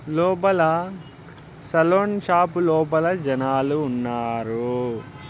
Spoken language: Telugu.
లోపల సెలూన్ షాప్ లోపల జనాలు ఉన్నారు.